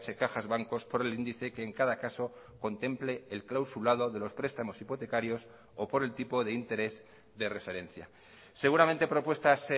cajas bancos por el índice que en cada caso contemple el clausulado de los prestamos hipotecarios o por el tipo de interés de referencia seguramente propuestas